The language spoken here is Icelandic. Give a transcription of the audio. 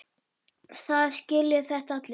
Það skilja þetta allir.